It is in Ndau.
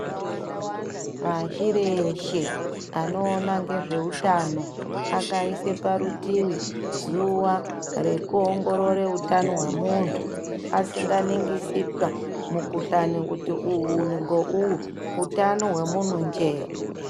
Pashi reshe anoona ngezveutano akaise parutii zuwa rekuongorore utano hwemuntu asinganingisi paa mukhuhlani kuti uyu ngeuyu utano hwemunhu nje.